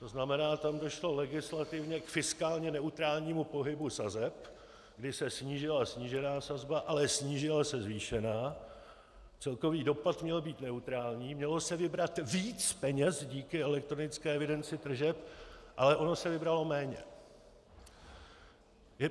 To znamená, tam došlo legislativně k fiskálně neutrálnímu pohybu sazeb, kdy se snížila snížená sazba, ale zvýšila se zvýšená, celkový dopad měl být neutrální, mělo se vybrat víc peněz díky elektronické evidenci tržeb, ale ono se vybralo méně.